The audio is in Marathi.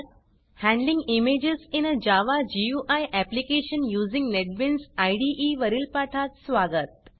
handling images in a Java GUI application using NetBeans इदे वरील पाठात स्वागत